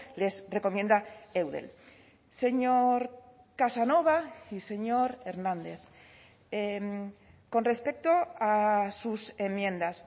les recomienda eudel señor casanova y señor hernández con respecto a sus enmiendas